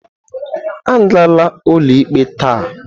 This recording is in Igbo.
Agala ụlọikpe taa!